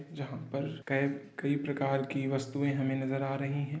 जहां पर के कई प्रकार की वस्तुएं हमें नजर आ रही हैं।